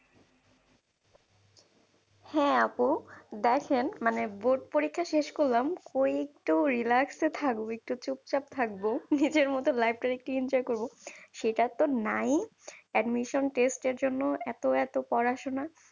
হ্যাঁ আপু দেখেন মানে board পরীক্ষা শেষ করলাম। করেই একটু relax এ থাকবো। একটু চুপচাপ থাকবো। নিজের মতো life টারে একটু enjoy করবো। সেটাতো নাই admission test জন্য এত এত পড়াশোনা?